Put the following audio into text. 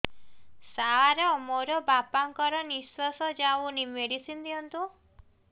ସାର ମୋର ବାପା ଙ୍କର ନିଃଶ୍ବାସ ଯାଉନି ମେଡିସିନ ଦିଅନ୍ତୁ